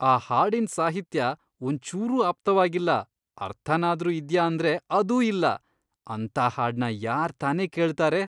ಆ ಹಾಡಿನ್ ಸಾಹಿತ್ಯ ಒಂಚೂರೂ ಆಪ್ತವಾಗಿಲ್ಲ, ಅರ್ಥನಾದ್ರೂ ಇದ್ಯಾ ಅಂದ್ರೆ ಅದೂ ಇಲ್ಲ, ಅಂಥ ಹಾಡ್ನ ಯಾರ್ತಾನೇ ಕೇಳ್ತಾರೆ.